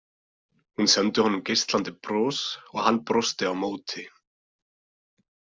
Hún sendi honum geislandi bros og hann brosti á móti.